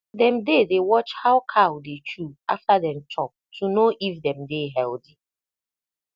dem dey dey watch how cow dey chew after dem chop to know if dem dey healthy